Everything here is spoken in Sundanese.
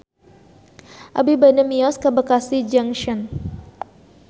Abi bade mios ka Bekasi Junction